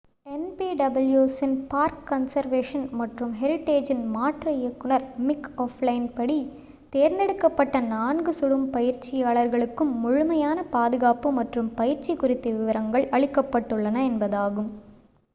என்பிடபிள்யூஎஸ்ஸின் park conservation மற்றும் ஹெரிடேஜ்ஜின் மாற்று இயக்குனர் மிக் ஓஃப்ளைன்படி தேர்ந்தெடுக்கப்பட்ட நான்கு சுடும் பயிற்சியாளர்களுக்கும் முழுமையான பாதுகாப்பு மற்றும் பயிற்சி குறித்த விவரங்கள் அளிக்கப்பட்டுள்ளன என்பதாகும்